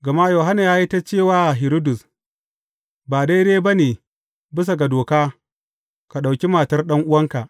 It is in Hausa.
Gama Yohanna ya yi ta ce wa Hiridus, Ba daidai ba ne bisa ga doka, ka ɗauki matar ɗan’uwanka.